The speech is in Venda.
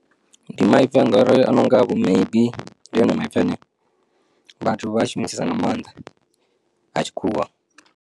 Ndi maipfi a ngori a nonga vho maybe, ndi one maipfi ane vhathu vha shumisesa nga maanḓa a tshikhuwa.